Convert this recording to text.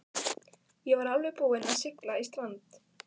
Ég var alveg búinn að sigla í strand.